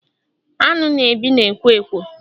Aṅụ na-ebi na ekwo Ekwo